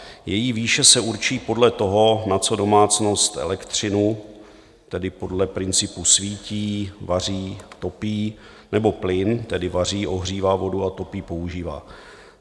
Její výše se určí podle toho, na co domácnost elektřinu - tedy podle principu svítí, vaří, topí - nebo plyn - tedy vaří, ohřívá vodu a topí - používá.